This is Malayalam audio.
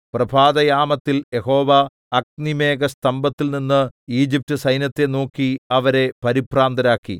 പ്രഭാതയാമത്തിൽ യഹോവ അഗ്നിമേഘസ്തംഭത്തിൽനിന്ന് ഈജിപ്റ്റുസൈന്യത്തെ നോക്കി അവരെ പരിഭ്രാന്തരാക്കി